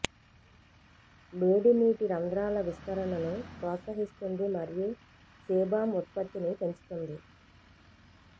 వేడి నీటి రంధ్రాల విస్తరణను ప్రోత్సహిస్తుంది మరియు సేబామ్ ఉత్పత్తిని పెంచుతుంది